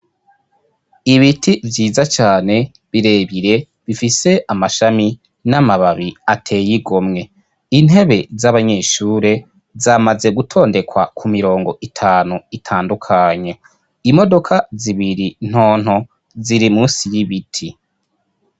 Ibiti vyiza cane birebire bifise amashami n'amababi ateye igomwe, intebe z'abanyeshure zamaze gutondekwa ku mirongo itanu itandukanye, imodoka zibiri ntonto ziri munsi y'ibiti.